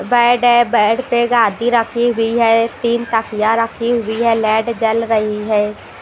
Bed है bed पे गादी रखी हुई है तीन तखियां रखी हुई है लाईट जल रही है।